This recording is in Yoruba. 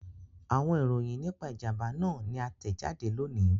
Awọn iroyin nipa ijamba naa ni a tẹjade loni